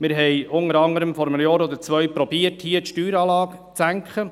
Wir haben vor einem oder zwei Jahren im Rat unter anderem versucht, die Steueranlage zu senken.